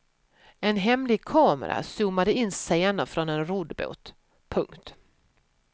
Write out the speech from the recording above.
En hemlig kamera zoomade in scener från en roddbåt. punkt